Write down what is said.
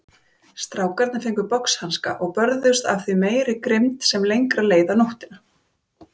Strákarnir fengu boxhanska og börðust af því meiri grimmd sem lengra leið á nóttina.